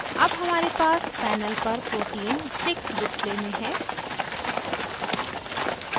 अब हमारे पास panel पर protein sticks display में है